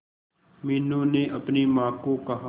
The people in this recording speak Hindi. मीनू ने अपनी मां को कहा